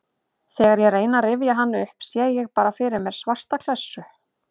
Þegar ég reyni að rifja hann upp sé ég bara fyrir mér svarta klessu.